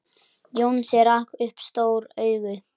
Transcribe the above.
Jónsi rak upp stór augu.